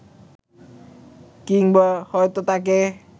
কিংবা হয়তো তাঁকে